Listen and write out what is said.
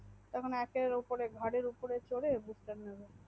তখন একের উপরে চোরে ঘাড়ের উপরে চোরে Bush star নেবে